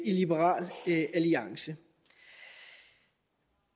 liberal alliance